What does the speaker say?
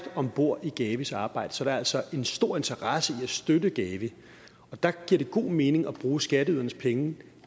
om bord i gavis arbejde så der er altså en stor interesse i at støtte gavi og der giver det god mening at bruge skatteydernes penge